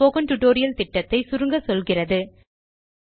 spoken tutorial திட்டப்பணி பற்றிய சிறு குறிப்பைக் காணலாம்